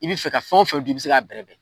I bi fɛ ka fɛn o fɛn dun i bi se k'a bɛrɛbɛn